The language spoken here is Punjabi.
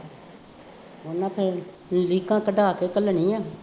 ਉਹਨਾ ਨੇ ਤਾਂ ਲੀਕਾਂ ਕਢਾ ਕੇ ਘੱਲਣੀ ਹੈ